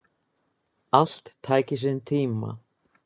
Allt tæki sinn tíma.